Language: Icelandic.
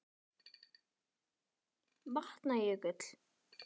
Vatna- jökull